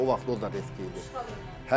İndi o vaxt o da retki idi.